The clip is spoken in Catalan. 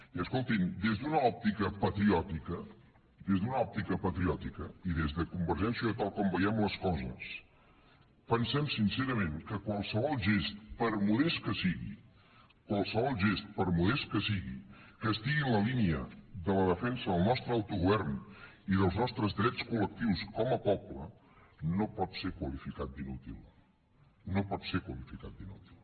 i escoltin des d’una òptica patriòtica des d’una òptica patriòtica i des de convergència i unió tal com veiem les coses pensem sincerament que qualsevol gest per modest que sigui qualsevol gest per modest que sigui que estigui en la línia de la defensa del nostre autogovern i dels nostres drets col·lectius com a poble no pot ser qualificat d’inútil no pot ser qualificat d’inútil